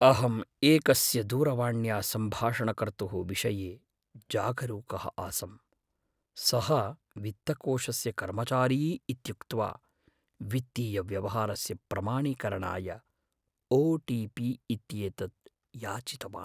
अहम् एकस्य दूरवाण्या सम्बाषणकर्तुः विषये जागरूकः आसम्। सः वित्तकोषस्य कर्मचारी इत्युक्त्वा वित्तीयव्यवहारस्य प्रमाणीकरणाय ओटीपी इत्येतत् याचितवान् ।